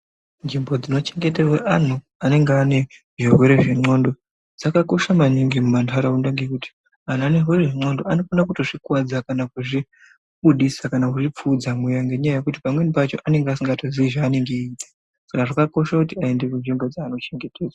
Nzvimbo dzinochengeterwa anhu anenge ane zvirwere zvenxondo dzakakosha maningi mumantaraunda, ngekuti anhu anezvirwere zvexondo anokona kutozvikuwadza, kana kuzvibudisa, kana kuzvipfuudza mweya ngenyaya yekuti pamweni pacho anenge asingatozii zveanonga eiita. Saka zvakakosha kuti aende kunzvimbo dzeanochengeterwa.